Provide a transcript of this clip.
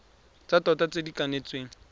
tsa tota tse di kanetsweng